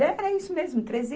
Era isso mesmo, treze